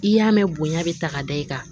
I y'a mɛn bonya bɛ ta ka da i kan